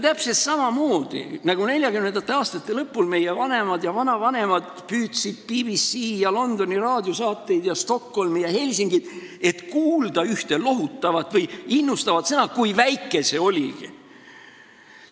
Täpselt samamoodi, nagu 1940. aastate lõpul meie vanemad ja vanavanemad püüdsid BBC-i ja Londoni raadiosaateid ja Stockholmi ja Helsingit, et kuulda ühte lohutavat või innustavat sõna, nii väike kui see oligi.